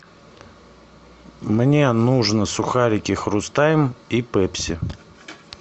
мне нужно сухарики хрустайм и пепси